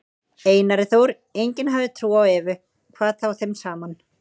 Einari Þór, enginn hafði trú á Evu, hvað þá þeim saman.